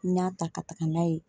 N y'a ta ka taga n'a ye